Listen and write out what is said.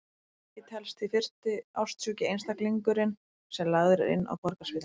Nikki telst því fyrsti ástsjúki einstaklingurinn sem lagður er inn á Borgarspítalann.